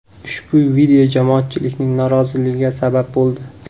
Ushbu video jamoatchilikning noroziligiga sabab bo‘ldi.